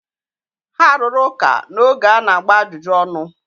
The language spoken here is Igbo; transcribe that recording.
ha rụrụ ụka n’oge a na-agba ajụjụ ọnụ